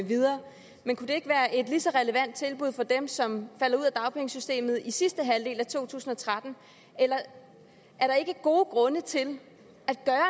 videre men kunne det ikke være et lige så relevant tilbud for dem som falder ud af dagpengesystemet i sidste halvdel af 2013 er der ikke gode grunde til